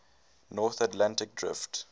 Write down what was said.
north atlantic drift